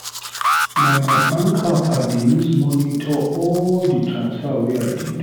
Na my bank app I dey use monitor all di transfer wey I dey do.